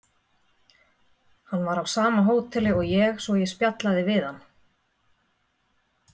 Hann var á sama hóteli og ég svo ég spjallaði við hann.